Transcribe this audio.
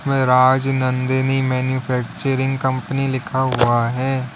राज Nandini manufacturing company लिखा हुआ है।